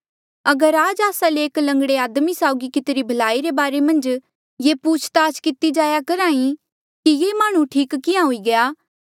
अगर आज आस्सा ले एक लंगड़े आदमी साउगी कितिरी भलाई रे बारे मन्झ ये पूछ ताछ किती जाया करहा ई कि ये माह्णुं ठीक किहाँ हुई गया